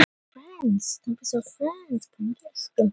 Mér finnst það því óskiljanlegra, sem ég hugsa lengur um það.